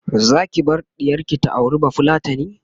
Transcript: Zaki bar ɗiyarki ta auri bafulatani?